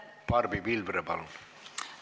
Barbi Pilvre, palun!